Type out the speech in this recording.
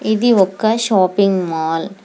ఇది ఒక్క shopping mall .